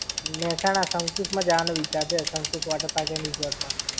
મેહસાણા શંકુશ માં જવાનો વિચાર છે, શંકુશ water-park and resort માં